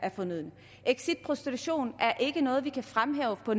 fornøden exit prostitution er ikke noget vi kan fremhæve på